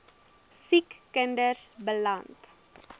siek kinders beland